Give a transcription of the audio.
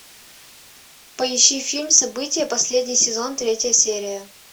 поищи фильм событие последний сезон третья серия